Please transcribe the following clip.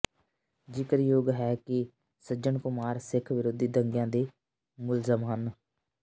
ਜ਼ਿਕਰਯੋਗ ਹੈ ਕਿ ਸੱਜਣ ਕੁਮਾਰ ਸਿੱਖ ਵਿਰੋਧੀ ਦੰਗਿਆਂ ਦੇ ਮੁਲਜ਼ਮ ਹਨ